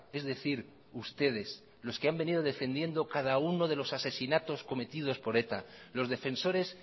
es decir ustedes los que han venido defendiendo cada uno de los asesinatos cometidos por eta los defensores